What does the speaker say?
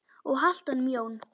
Og haltu honum Jón.